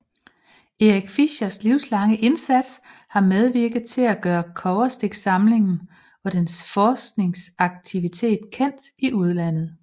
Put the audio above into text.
Erik Fischers livslange indsats har medvirket til at gøre Kobberstiksamlingen og dens forskningsaktivitet kendt i udlandet